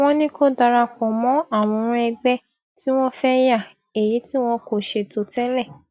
wọn ní kó darapọ mọ àwòrán ẹgbẹ tí wọn fẹ yà èyí tí wọn kò ṣètò tẹlẹ